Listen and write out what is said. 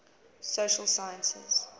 social sciences